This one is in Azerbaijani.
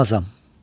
Sığmazam.